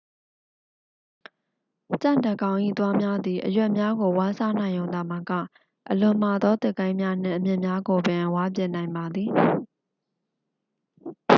ကြံ့တစ်ကောင်၏သွားများသည် အရွက်များကို ဝါးစားနိုင်ရုံသာမက အလွန်မာသော သစ်ကိုင်းများနှင့် အမြစ်များကိုပင် ဝါးပစ်နိုင်ပါသည်